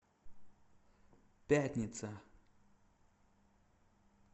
пятница